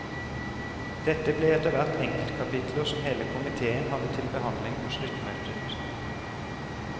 Dette ble etterhvert enkeltkapitler som hele komiteen hadde til behandling på sluttmøtet.